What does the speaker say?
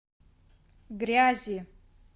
грязи